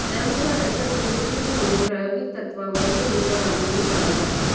त्यानुसार राज्यात पहिले तीन महिने प्रायोगिक तत्त्वावर ही योजना राबविली जाणार आहे